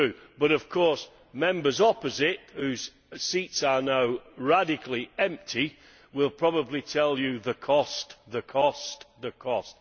But of course Members opposite, whose seats are now radically empty, will probably tell you the cost, the cost, the cost!